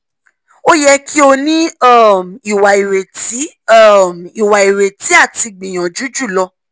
o yẹ ki o ni um iwa ireti um iwa ireti ati gbiyanju julo